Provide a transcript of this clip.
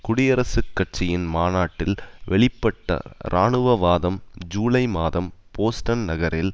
குடியரசுக் கட்சியின் மாநாட்டில் வெளிப்பட்ட இராணுவவாதம் ஜூலை மாதம் போஸ்டன் நகரில்